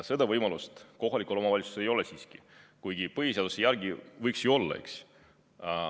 Seda võimalust kohalikul omavalitsusel ei ole, kuigi põhiseaduse järgi võiks ju olla, eks.